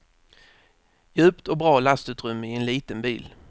Djupt och bra lastutrymme i en liten bil.